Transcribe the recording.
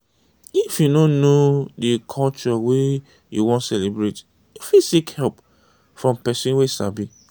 if you no know di culture wey you wan celebrate you fit seek help from person wey sabi